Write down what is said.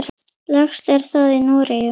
Lægst er það í Noregi.